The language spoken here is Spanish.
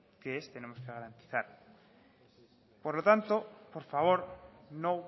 que es tenemos que garantizar por lo tanto por favor no